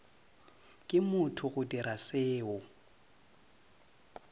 ke motho go dira seo